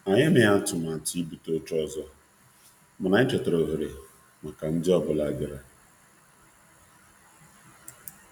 Anyị emeghị atụmatụ ibute oche ọzọ, mana anyị chọtara ohere maka um ndi maka um ndi ọ bụla bịara.